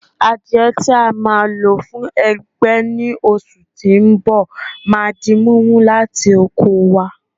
Àdiẹ tí a ma lò fuń ẹgbẹ́ ni oṣù tí ń bọ̀ ma di mímú láti oko wá